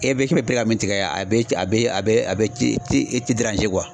E be k'e be pere ka min tigɛ yan a be ta a be a be a be ci ci i ti deranze kyuwa